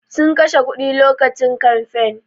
Sun kashe kuɗi lokacin kamfain